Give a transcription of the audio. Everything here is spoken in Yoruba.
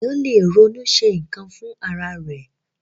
Ènìyàn lè ronú ṣe nkan fún ará ẹ.